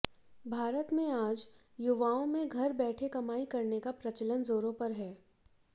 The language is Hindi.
भारत में आज युवाओं में घर बैठे कमाई करने का प्रचलन जोरों पर है